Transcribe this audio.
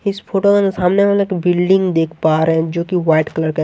इस फोटो के सामने हम एक बिल्डिंग देख पा रहे हैं जोकि वाइट कलर का --